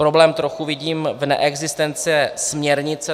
Problém trochu vidím v neexistenci směrnice.